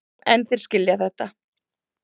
En þeir skilja þetta.